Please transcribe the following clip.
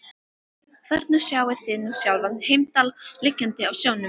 Og þarna sjáið þið nú sjálfan Heimdall liggjandi á sjónum.